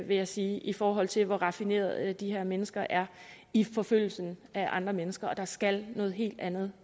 vil jeg sige i forhold til hvor raffinerede de her mennesker er i forfølgelsen af andre mennesker der skal noget helt andet